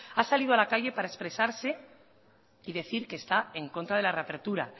ha salido a la calle para expresarse y decir que está en contra de la reapertura